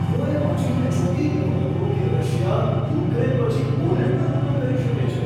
હું એ વાંચીને ચોંકી ગયો હતો કે રશિયા યુક્રેન પછી પોલેન્ડ પર હુમલો કરી શકે છે.